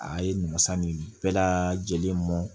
A ye nasa nin bɛɛ lajlen mɔn